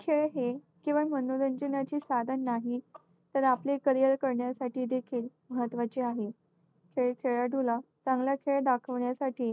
खेळ हे केवळ मनोरंजनाचे साधन नाही. तर आपले career करण्यासाठी देखील महत्त्वाचे आहे. खेळ खेळाडूला चांगलं खेळ दाखवण्यासाठी